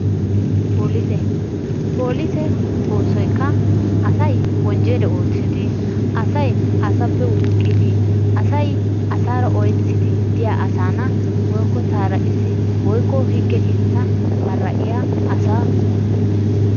Polise polise oosoyika asay wojjaliya oottidi, asaappe wuuqqidi, asay asaara oyettidi de'iya assanaa woyikko taaraqissi woyikko higge keettaa mara'iya asa.